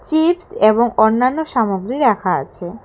Chips এবং অন্যান্য সামগ্রী রাখা আছে।